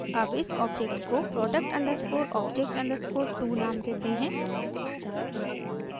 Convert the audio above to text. अब इस ऑब्जेक्ट को product_object_2 नाम देते हैं